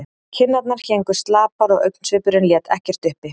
Kinnarnar héngu slapar og augnsvipurinn lét ekkert uppi.